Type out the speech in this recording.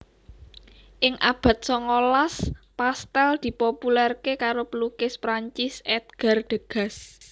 Ing abad songolas pastèl dipopulerké karo pelukis Perancis Edgar Degas